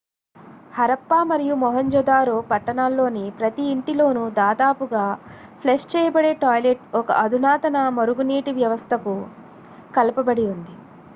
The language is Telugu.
హరప్పా మరియు మొహంజొదారో పట్టణాల్లోని ప్రతి ఇంటిలోనూ దాదాపుగా ఫ్లష్ చేయబడే టాయిలెట్ ఒక అధునాతన మురుగునీటి వ్యవస్థకు కలపబడి ఉంది